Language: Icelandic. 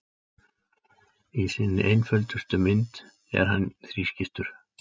Í sinni einföldustu mynd er hann þrískiptur.